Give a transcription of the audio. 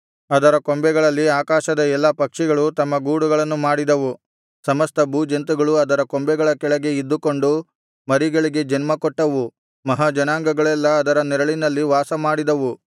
ಅದರ ಕೊಂಬೆಗಳಲ್ಲಿ ಆಕಾಶದ ಎಲ್ಲಾ ಪಕ್ಷಿಗಳು ತಮ್ಮ ಗೂಡುಗಳನ್ನು ಮಾಡಿದವು ಸಮಸ್ತ ಭೂಜಂತುಗಳು ಅದರ ಕೊಂಬೆಗಳ ಕೆಳಗೆ ಇದ್ದುಕೊಂಡು ಮರಿಗಳಿಗೆ ಜನ್ಮ ಕೊಟ್ಟವು ಮಹಾಜನಾಂಗಗಳೆಲ್ಲಾ ಅದರ ನೆರಳಿನಲ್ಲಿ ವಾಸಮಾಡಿದವು